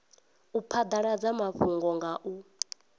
u phadaladza mafhungo nga u